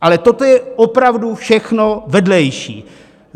Ale toto je opravdu všechno vedlejší.